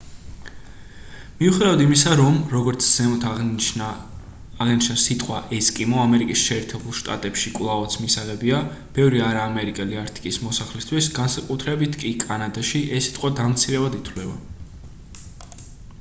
მიუხედავად იმისა რომ როგორც ზემოთ აღინიშნა სიტყვა ესკიმო ამერიკის შეერთებულ შტატებში კვლავაც მისაღებია ბევრი არაამერიკელი არქტიკის მოსახლისთვის განსაკუთრებით კი კანადაში ეს სიტყვა დამცირებად ითვლება